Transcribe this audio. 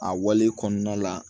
A wale kɔnɔna la